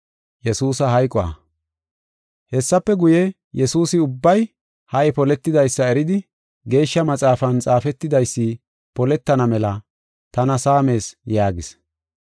Hessafe guye, Yesuusi ubbay ha77i poletidaysa eridi, Geeshsha Maxaafan xaafetidaysi poletana mela “Tana saamees” yaagis.